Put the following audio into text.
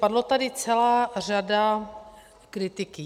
Padla tady celá řada kritiky.